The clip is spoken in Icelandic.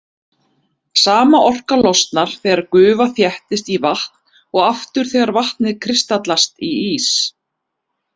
Sama orka losnar þegar gufa þéttist í vatn og aftur þegar vatnið kristallast í ís.